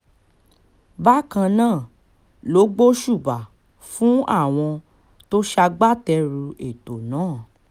bákan náà ló gbóṣùbà fún àwọn tó ṣagbátẹrù ètò náà